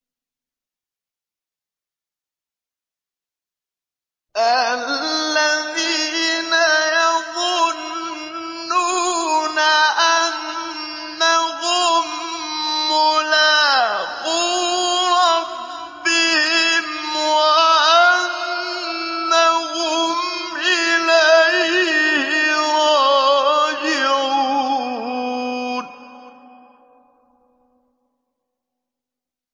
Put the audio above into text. الَّذِينَ يَظُنُّونَ أَنَّهُم مُّلَاقُو رَبِّهِمْ وَأَنَّهُمْ إِلَيْهِ رَاجِعُونَ